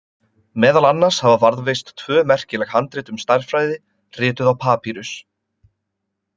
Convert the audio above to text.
Meðal annars hafa varðveist tvö merkileg handrit um stærðfræði, rituð á papýrus.